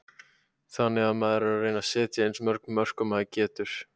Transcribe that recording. Þannig að maður er að reyna að setja eins mörg mörk og maður getur.